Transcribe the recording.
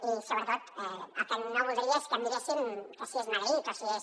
i sobretot el que no voldria és que miréssim si és madrid o si és